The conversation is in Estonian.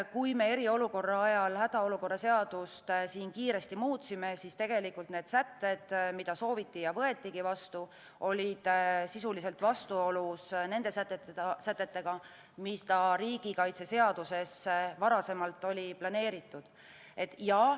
Kui me eriolukorra ajal hädaolukorra seadust kiiresti muutsime, siis tegelikult need sätted, mida sooviti ja mis võetigi vastu, olid sisuliselt vastuolus nende sätetega, mis riigikaitseseadusesse varasemalt olid planeeritud.